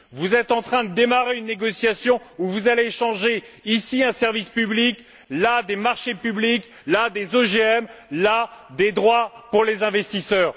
Vous êtes en train de lancer une négociation où vous allez échanger ici un service public, là des marchés publics, là des OGM, là des droits pour les investisseurs.